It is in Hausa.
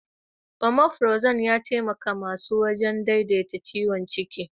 Omefrazol ya taimaka masa wajen daidaita ciwon ciki.